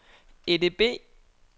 EDB